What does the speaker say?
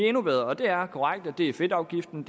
endnu bedre det er korrekt at det er fedtafgiften